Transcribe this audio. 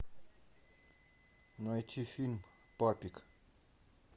найти фильм папик